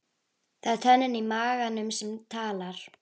Það er tönnin í maganum sem talar.